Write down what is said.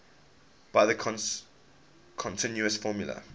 by the continuous formula